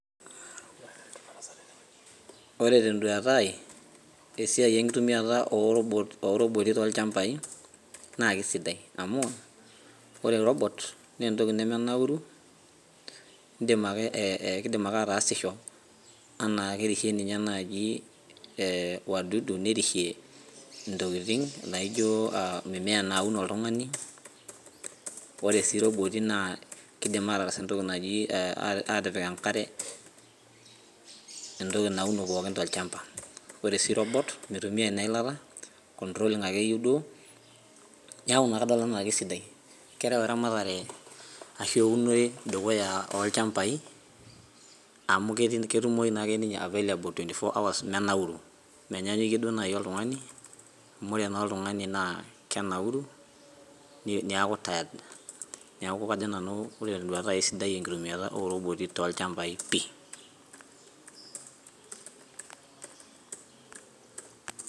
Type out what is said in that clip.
ore tee nduata aii tesiai enkitumiata oo ooroboti toolchampai naa kesidai amu ore orobot naa entoki nemenauru keidim ake ataasisho anaa kerishie nye naji wadudu nerishie intokiting` naijo mimea naaun oltung`ani oree sii iroboti naa keidim aatas entoki naji atipik enkare entoki nauno pookin tolchampa oreee sii robot meitumia naa eilata controling ake eyiu duo nau inkaitubulu naa kesidai kerew eramatare ashu eunore dukuya olchampai amu ketumoi naa ninye 24 hours menauru menyanyikie nai duo olttung`ani amu ore naa oltung`ani naa kenauru neaki tired neeku kajo nanu ore tee nduata aii sidai enkitumiata ooroboti toolchampai pii .